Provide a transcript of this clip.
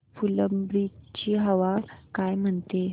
फुलंब्री ची हवा काय म्हणते